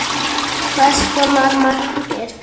Hver skoraði markið?